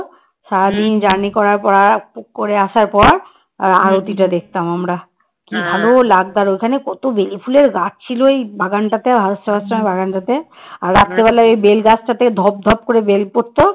এই বেল গাছটাতে ধপ ধপ করে বেল পড়তো